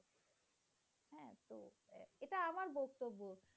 কর্ত্যব্য